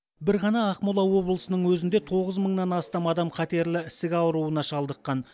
бір ғана ақмола облысының өзінде тоғыз мыңнан астам адам қатерлі ісік ауруына шалдыққан